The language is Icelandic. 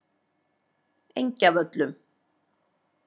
Engjavöllum